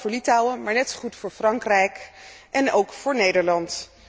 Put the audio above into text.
Dat geldt voor Litouwen, maar net zo goed voor Frankrijk en ook voor Nederland.